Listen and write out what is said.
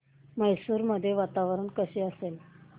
मैसूर मध्ये वातावरण कसे असेल